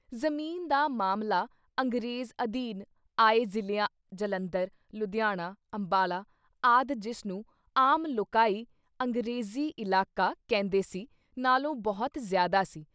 ਜ਼ਮੀਨ ਦਾ ਮਾਮਲਾ ਅੰਗਰੇਜ਼ ਅਧੀਨ ਆਏ ਜ਼ਿਲ੍ਹਿਆਂ ਜਲੰਧਰ, ਲੁਧਿਆਣਾ, ਅੰਬਾਲਾ ਆਦਿ ਜਿਸਨੂੰ ਆਮ ਲੋਕਾਈ “ਅੰਗਰੇਜ਼ੀ ਇਲਾਕਾ” ਕਹਿੰਦੇ ਸੀ, ਨਾਲੋਂ ਬਹੁਤ ਜ਼ਿਆਦਾ ਸੀ।